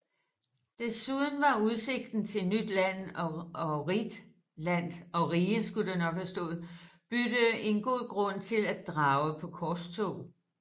Desuden var udsigten til nyt land og rigt bytte en god grund til at drage på korstog